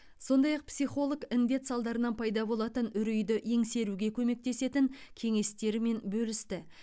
сондай ақ психолог індет салдарынан пайда болатын үрейді еңсеруге көмектесетін кеңестерімен бөлісті